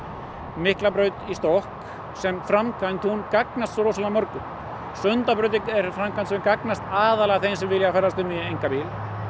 Miklabraut í stokk sem framkvæmd hún gagnast svo rosalega mörgum Sundabraut er framkvæmd sem gagnast aðallega þeim sem vilja ferðast um í einkabíl